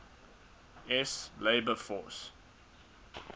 s labor force